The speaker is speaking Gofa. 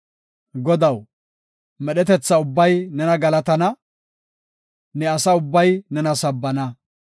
Godaw, medhetetha ubbay nena galatana; ne asa ubbay nena sabbana.